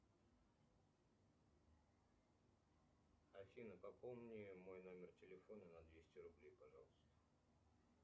афина пополни мой номер телефона на двести рублей пожалуйста